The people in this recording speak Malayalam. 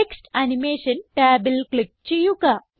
ടെക്സ്റ്റ് അനിമേഷൻ ടാബിൽ ക്ലിക്ക് ചെയ്യുക